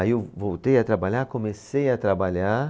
Aí eu voltei a trabalhar, comecei a trabalhar.